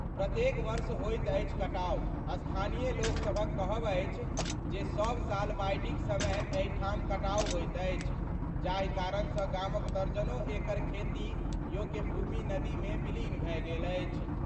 प्रत्येक वर्ष होइत अछि कटाव : स्थानीय लोकसभक कहब अछि जे सब साल बाढ़िक समय एहि ठाम कटाव होइत अछि, जाहि कारण सं गामक दर्जनो एकड़ खेती योग्य भूमि नदी मे विलीन भए गेल अछि।